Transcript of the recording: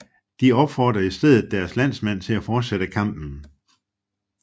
De opfordrede i stedet deres landsmænd til at fortsætte kampen